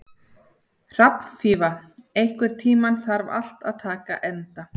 Hrafnfífa, einhvern tímann þarf allt að taka enda.